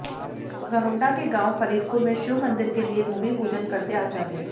घरौंडा के गांव फरीदपुर में शिव मंदिर के लिए भूमि पूजन करते आचार्य